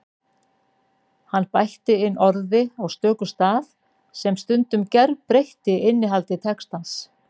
Hann bætti inn orði á stöku stað sem stundum gerbreytti innihaldi textans.